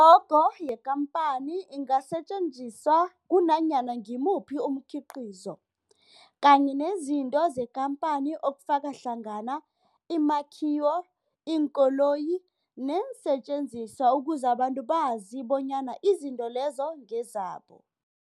I-logo yekampani ingasetjenziswa kunanyana ngimuphi umkhiqizo kanye nezinto zekhamphani okufaka hlangana imakhiwo, iinkoloyi neensentjenziswa ukuze abantu bazi bonyana izinto lezo ngezabo.